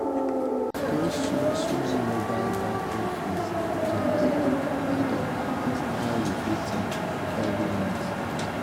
those small small mobile banking fees dey quick quick add up pass how you fit think every month.